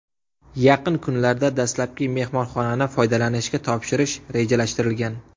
Yaqin kunlarda dastlabki mehmonxonani foydalanishga topshirish rejalashtirilgan.